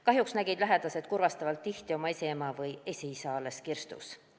Kahjuks nägid lähedased kurvastavalt tihti oma esiema või esiisa alles kirstus.